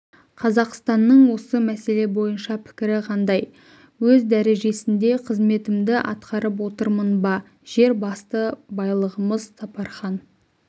қазақстанның осы мәселе бойынша пікірі қандай өз дәрежесінде қызметімді атқарып отырмын ба жер басты байлығымыз сапархан